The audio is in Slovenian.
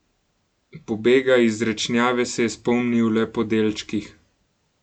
Pobega iz Rečnjave se je spomnil le po delčkih.